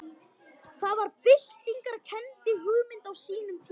Það var byltingarkennd hugmynd á sínum tíma.